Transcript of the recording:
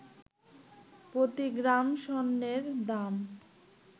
প্রতি গ্রাম স্বর্ণের দাম